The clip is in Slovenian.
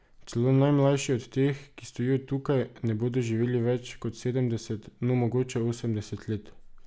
Celo najmlajši od teh, ki stojijo tukaj, ne bodo živeli več kot sedemdeset, no, mogoče osemdeset let.